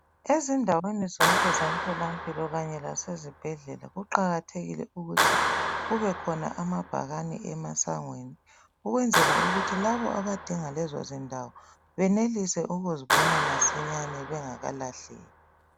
Ezindaweni zonke zentolampilo lasezibhedlela kuqakathekile ukuthi kube khona amabhakani emasangweni ukwenzela ukuthi labo abadinga lezo zindiwo benelise ukuzibona masinyane bengakalahleki.